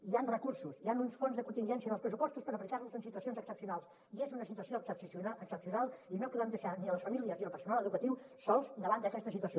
hi ha recursos hi ha uns fons de contingència en els pressupostos per aplicar los en situacions excepcionals i és una situació excepcional i no podem deixar ni les famílies ni el personal educatiu sols davant d’aquesta situació